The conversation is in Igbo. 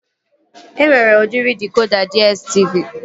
E nwere udiri dịkoda DSTV